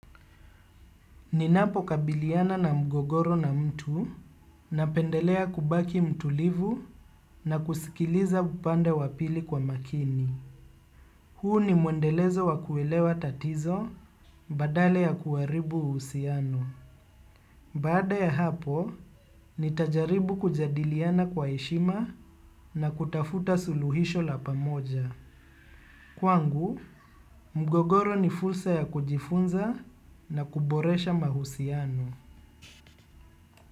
Ninapokabiliana na mgogoro na mtu, napendelea kubaki mtulivu na kusikiliza pande zote mbili kwa makini. Huu ni mwendelezo wa kuelewa tatizo badala ya kuharibu uhusiano. Baada ya hapo, nitajaribu kujadiliana kwa heshima na kutafuta suluhisho la pamoja. Kwangu, mgogoro ni fursa ya kujifunza na kuboresha mahusiano.